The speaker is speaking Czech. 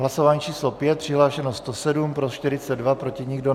Hlasování číslo 5, přihlášeno 107, pro 42, proti nikdo.